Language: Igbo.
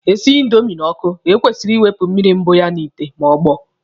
E sinye indomi n'ọkụ, e kwesịrị ị wụpụ mmiri mbụ ya n'ite ma ọ gbọọ.